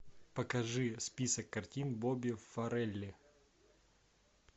покажи список картин бобби форелли